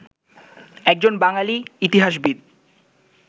একজন বাঙালি ইতিহাসবিদ